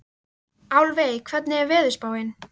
Álfey, hvernig er veðurspáin?